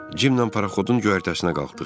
Cimlə paraxodun göyərtəsinə qalxdıq.